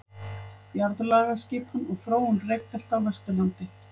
Jarðlagaskipan og þróun rekbelta á Vesturlandi.